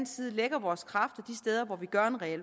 side lægger vores kræfter de steder hvor vi gør en reel